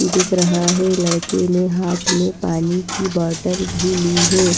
दिख रहा है लड़के ने हाथ में पानी की बॉटल भी ली है।